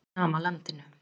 Á sama landinu.